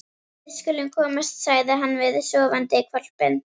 Við skulum komast, sagði hann við sofandi hvolpinn.